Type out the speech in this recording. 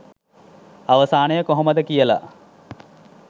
අවසානය කොහොමද කියලා.